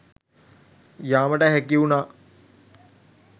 යාමට හැකිවුණා.